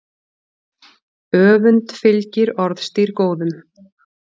Öfund fylgir orðstír góðum.